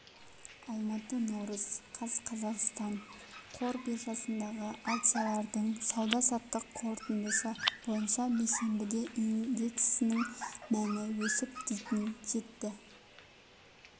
алматы наурыз қаз қазақстан қор биржасындағы акциялардың сауда-саттық қорытындысы бойынша бейсенбіде индексінің мәні өсіп дейін жетті